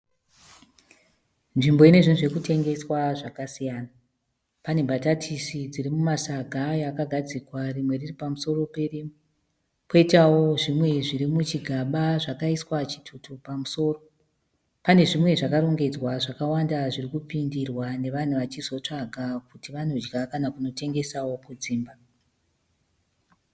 Nzvimbo ine zvinhu zvekutengeswa zvakasiyana. Pane mbatatisi dzirimumasaga ayo akagadzikwa rimwe riri pamusoro perimwe. Poitawo zvimwe zviri muchigaba zvakaiswa chitutu pamusoro. Pane zvimwe zvakarongedzwa zvakawanda zvirikupindirwa navanhu vachizotsvaga kuti vanodya kana kunotengesawo kudzimba.